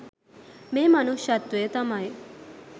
මේ මනුෂ්‍යත්වය තමයි